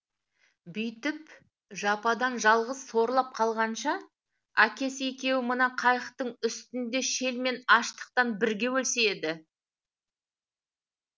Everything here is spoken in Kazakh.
бүйтіп жападан жалғыз сорлап қалғанша әкесі екеуі мына қайықтың үстінде шел мен аштықтан бірге өлсе еді